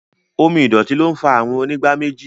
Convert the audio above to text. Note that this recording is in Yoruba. Omo ìdọ̀tí ló ń fa àrùn onígbáméjì